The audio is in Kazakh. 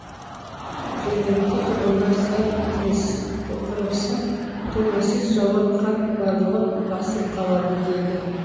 жергілікті тұрғындар сәл тынықсақ толассыз жауған қар барлығын басып қалады дейді